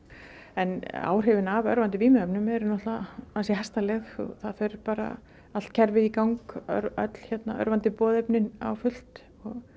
en áhrifin af örvandi vímuefnum eru ansi hastarleg það fer bara allt kerfið í gang öll örvandi á fullt